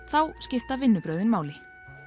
þá skipta vinnubrögðin máli